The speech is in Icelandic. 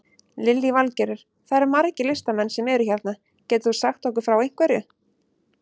Lillý Valgerður: Það eru margir listamenn sem eru hérna, getur þú sagt okkur frá einhverju?